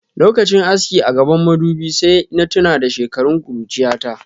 Lokachin aski a gabban madubin sai na tuna da shekarun kurchiyata.